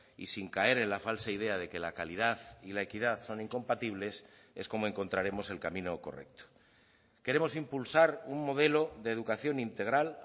y sin caer en la falsa idea de que la calidad y la equidad son incompatibles es como encontraremos el camino correcto queremos impulsar un modelo de educación integral